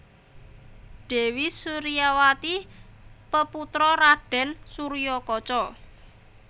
Dèwi Suryawati peputra Raden Suryakaca